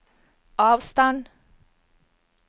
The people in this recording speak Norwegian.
avstand